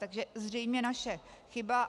Takže zřejmě naše chyba.